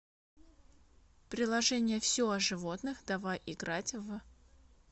приложение все о животных давай играть в